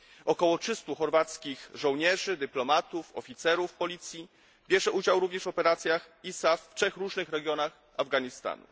Około 300 chorwackich żołnierzy, dyplomatów, oficerów policji bierze udział również w operacjach ISAF w trzech różnych regionach Afganistanu.